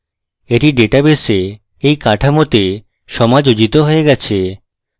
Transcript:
এটি ডাটাবেসে এই কাঠামোতে সমাযোজিত হয়ে গেছে